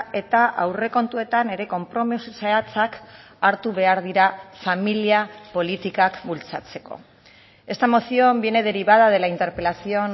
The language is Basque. eta aurrekontuetan ere konpromiso zehatzak hartu behar dira familia politikak bultzatzeko esta moción viene derivada de la interpelación